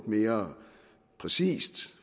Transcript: mere præcist